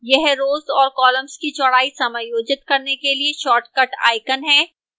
यह rows और columns की चौड़ाई समायोजित करने के लिए shortcut icon है